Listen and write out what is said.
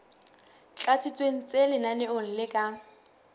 tlatsitsweng tse lenaneong le ka